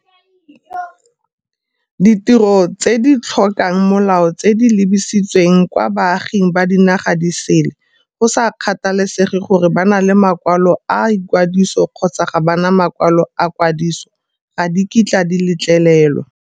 Ditiro tse di tlhokang molao tse di lebisitsweng kwa baaging ba dinaga di sele, go sa kgathalesege gore ba na le makwalo a kwadiso kgotsa ga ba na makwalo a kwadiso, ga di kitla di letlelelwa.